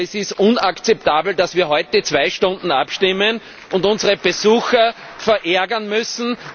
Denn es ist unakzeptabel, dass wir heute zwei Stunden abstimmen und unsere Besucher verärgern müssen.